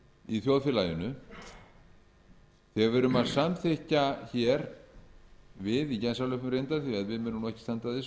í þjóðfélaginu þegar við erum að samþykkja hér við í gæslalöppum reyndar því að við munum nú ekki